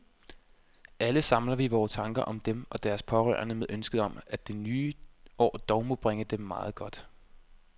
Alle samler vi vore tanker om dem og deres pårørende med ønsket om, at det nye år dog må bringe dem meget godt.